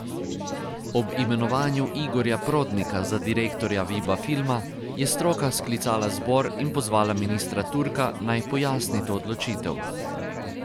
Ob imenovanju Igorja Prodnika za direktorja Viba filma, je stroka sklicala zbor in pozvala ministra Turka naj pojasni to odločitev.